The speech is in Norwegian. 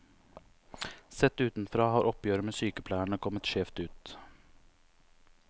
Sett utenfra har oppgjøret med sykepleierne kommet skjevt ut.